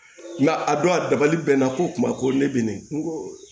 a don a dabali bɛ nan ko kuma ko ne bɛ nin n ko